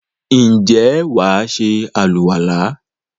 ǹjẹ́ wà á se àlùwàlá?